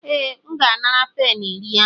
Ee, M ga-anara peni iri ahụ.